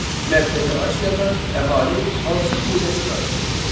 Mərkəzi Asiyada əhali hansı dinə sitayiş eləyirdi?